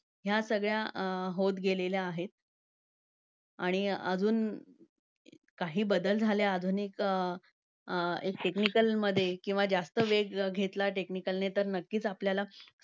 ह्या सगळ्या अं होत गेलेल्या आहेत. आणि अजून काही बदल झाले आधुनिक एक अं technical मध्ये किंवा जास्त वेग घेतला technical ने, तर नक्कीच आपल्याला